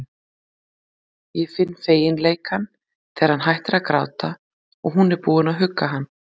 Ég finn feginleikann þegar hann hættir að gráta og hún er búin að hugga hann.